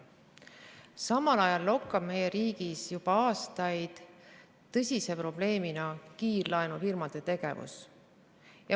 Samal ajal lokkab meie riigis juba aastaid tõsise probleemina kiirlaenufirmade tegevus.